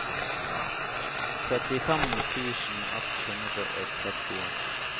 trettifem tusen ett hundre og trettien